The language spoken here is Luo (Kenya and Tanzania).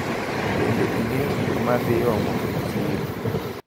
Bende ing`eyo gigo maidhi omo e chiro?